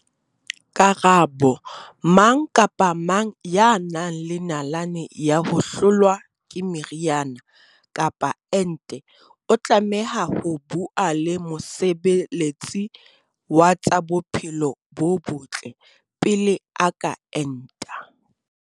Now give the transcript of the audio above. Karabo- Mang kapa mang ya nang le nalane ya ho hlolwa ke meriana kapa ente o tlameha ho bua le mosebe letsi wa tsa bophelo bo botle pele a ka enta.